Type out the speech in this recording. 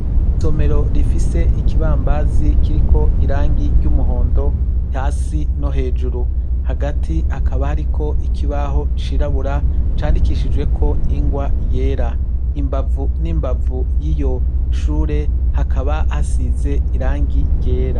Ikiratsi kinini cane gisisirangirisa n'umuhondo irindi ritukura imbere yawo hakaba hari ikibuga kinini cane hakaba hari n'imodoka zera zihahagaze hakaba hari n'ibiti vyinshi cane bifise mu baye imeza atotaye, kandi hakaba hari ko hakizuba gishi.